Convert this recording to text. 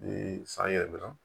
Ni san yɛlɛma